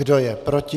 Kdo je proti?